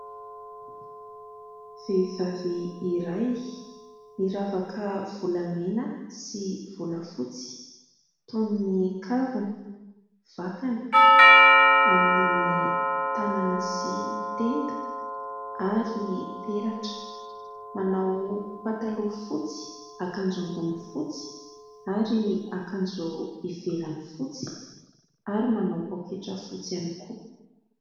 Vehivavy iray miravaka volamena sy volafotsy toy ny : kavina, vakana amin'ny tanana sy tenda ary peratra ; manao pataloha fotsy, akanjo ambony fotsy ary akanjo ivelany fotsy ary manao poketra fotsy ihany koa.